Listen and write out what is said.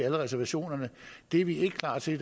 alle reservationerne er vi ikke klar til